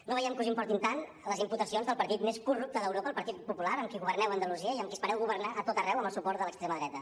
no veiem que us importin tant les imputacions del partit més corrupte d’europa el partit popular amb qui governeu a andalusia i amb qui espereu governar a tot arreu amb el suport de l’extrema dreta